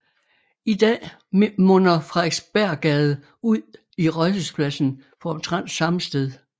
I dag munder Frederiksberggade ud i Rådhuspladsen på omtrent samme sted